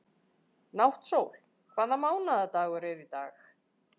Náttsól, hvaða mánaðardagur er í dag?